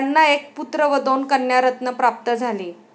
त्यांना एक पुत्र व दोन कन्यारत्न प्राप्त झाली.